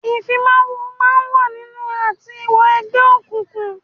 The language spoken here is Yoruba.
Ìfimawo máa ń wà nínú àti wọ Egbe òkùnkùn